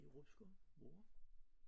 I Rutsker. Hvor?